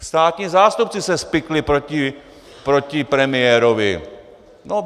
Státní zástupci se spikli proti premiérovi.